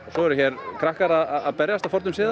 svo eru hér krakkar að berjast að fornum sið